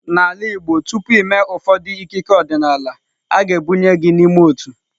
N'ala Igbo tupu i mee ụfọdụ ikike ọdịnala, a ga-ebunye gị n'ime otu.